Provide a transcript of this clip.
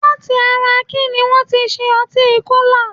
Láti ara kíní wọ́n ti ṣe ọtí Kólà?